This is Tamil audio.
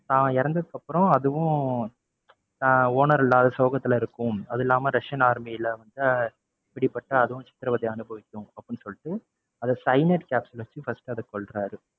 ஆஹ் owner இல்லாத சோகத்துல இருக்கும். அது இல்லாம ரஷியன் army ல வந்து பிடிப்பட்டு அதுவும் சித்திரவதைய அனுபவிக்கும் அப்படின்னு சொல்லிட்டு அதை cyanide capsule வச்சு first அதை கொல்றாரு.